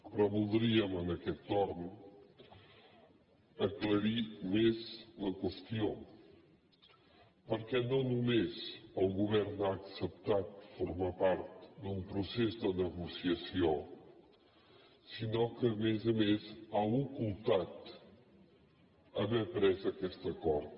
però voldríem en aquest torn aclarir més la qüestió perquè no només el govern ha acceptat formar part d’un procés de negociació sinó que a més a més ha ocultat haver pres aquest acord